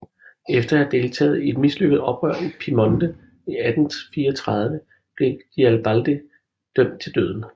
Efter at have deltaget i et mislykket oprør i Piemonte i 1834 blev Garibaldi dømt til døden